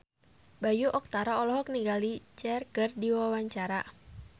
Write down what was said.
Bayu Octara olohok ningali Cher keur diwawancara